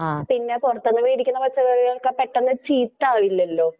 പിന്നെ പുറത്തുനിന്ന് മേടിക്കുന്ന പച്ചക്കറികൾ പെട്ടെന്ന് ചീത്തയാവും ഇല്ലല്ലോ?